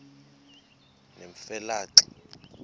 nemfe le xa